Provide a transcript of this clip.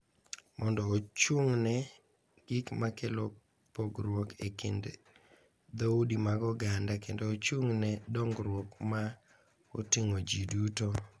Mondo ochung’ne gik ma kelo pogruok e kind dhoudi mag oganda kendo ochung’ ne dongruok ma oting’o ji duto.